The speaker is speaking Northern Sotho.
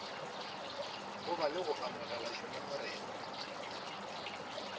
goba le go amogela dingongorego